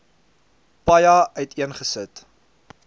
paja uiteen gesit